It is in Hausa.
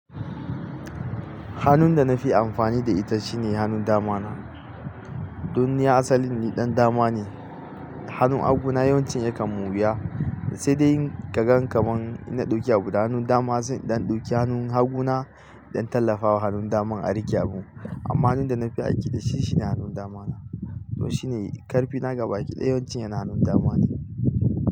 Hannun da na fi amfani da ita shine hanun dama na. Don ni asali ni ɗan dama ne. Hanun haguna yawanci yakan moriya, sai dai in ka gan kamar ina ɗauke abu, hanun dama sai in ɗan ɗauke hanun haguna don tallafawa hanun dama a riƙe abu. Amma hanun da na fi aiki da shi shine hanun dama na. To shi ne karfina gabaki ɗaya yawancin yana hanun dama ne.